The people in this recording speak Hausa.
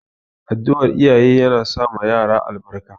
Addu'ar iyaye yana sa ma rayuwar yara albarka